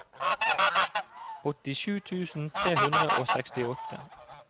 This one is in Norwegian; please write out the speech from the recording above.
åttisju tusen tre hundre og sekstiåtte